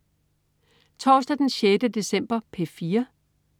Torsdag den 6. december - P4: